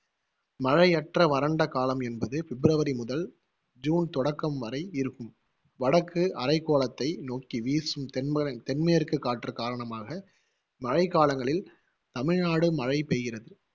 மழையற்ற வறண்ட காலம் என்பது பிப்ரவரி முதல் ஜுன் தொடக்கம் வரை இருக்கும். வடக்கு அரைகோளத்தை நோக்கி வீசும் தென்மா~ தென்மேற்கு காற்று காரணமாக மழைக்காலங்களில் தமிழ்நாடு மழை பெய்கிறது